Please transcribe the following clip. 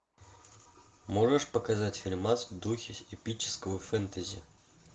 можешь показать фильмас в духе эпического фэнтези